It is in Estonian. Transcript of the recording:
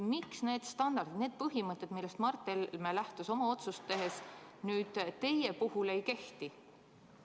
Miks need standardid, need põhimõtted, millest Mart Helme lähtus oma otsust tehes, teie puhul ei kehti?